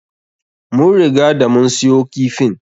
Mun riga da mun siyo kifin.